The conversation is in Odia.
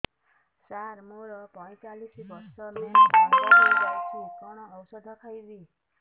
ସାର ମୋର ପଞ୍ଚଚାଳିଶି ବର୍ଷ ମେନ୍ସେସ ବନ୍ଦ ହେଇଯାଇଛି କଣ ଓଷଦ ଖାଇବି